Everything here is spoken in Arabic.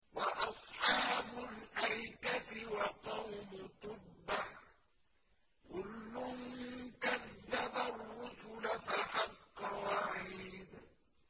وَأَصْحَابُ الْأَيْكَةِ وَقَوْمُ تُبَّعٍ ۚ كُلٌّ كَذَّبَ الرُّسُلَ فَحَقَّ وَعِيدِ